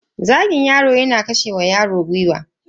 Zagin yaro yana kashe wa yaro gwiwa.